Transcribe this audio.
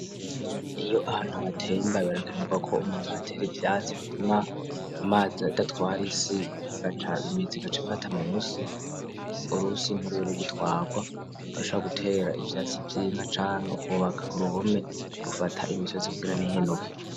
Iyo ahantu hatemba birakenerwa ko umuntu ahatera ivyatsi bituma amazi adatwara isi igaca imizi igaca ifata musi, urusi ntirube rugitwarwa, barashobora gutera ivyatsi vy'inka canke kubaka uruhome rufata imisozi kugira ntihenuke.